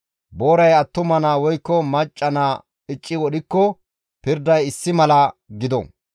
Booray attuma naa woykko macca naa icci wodhikko pirday issi mala gido.